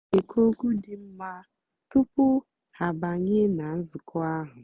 há nà-ékwú ókwú dị́ nmá túpú há àbányé nà nzụ̀kọ́ áhụ̀.